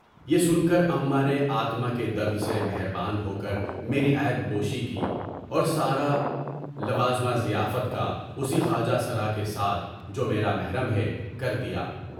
یہ سن کر امّاں نے آتما کے درد سے مہربان ہوکر میری عیب پوشی کی اور سالانہ ضیافت کا اسی خواجہ سرا کے ساتھ (جو میرا محرم ہے) کر دیا۔